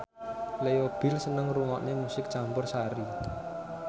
Leo Bill seneng ngrungokne musik campursari